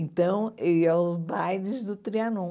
Então, eu ia aos bailes do Trianon.